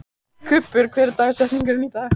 Kubbur, hver er dagsetningin í dag?